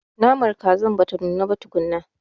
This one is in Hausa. Naman kazar bata nuna ba tukunna.